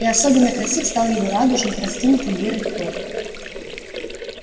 и особенно красив стал его радужный раскинутый лирой хвост